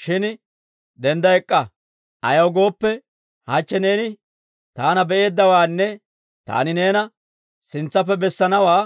Shin dendda ek'k'a; ayaw gooppe, hachche neeni taana bee'eeddawaanne taani neena sintsappe bessanawaa